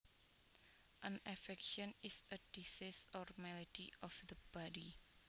An affection is a disease or malady of the body